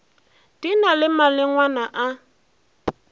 di na le malengwana a